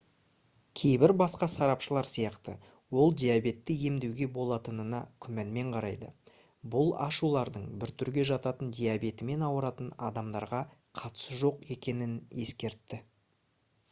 кейбір басқа сарапшылар сияқты ол диабетті емдеуге болатынына күмәнмен қарайды бұл ашулардың 1-түрге жататын диабетімен ауыратын адамдарға қатысы жоқ екенін ескертті